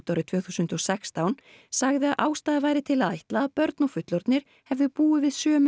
árið tvö þúsund og sextán sagði að ástæða væri til að ætla að börn og fullorðnir hefðu búið við sömu